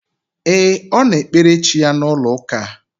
E, Ọ na ekpere chi ya na ụlọ ụka a